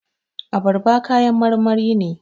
Abarba kayan marmari ne